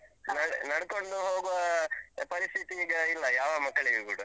ನಡ್ಕೊಂಡು ಹೋಗುವ ಪರಿಸ್ಥಿತಿ ಈಗ ಇಲ್ಲ, ಯಾವ ಮಕ್ಕಳಿಗೂ ಕೂಡ.